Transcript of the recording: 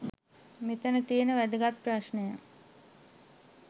මෙතන තියෙන් වැදගත් ප්‍රශ්නය.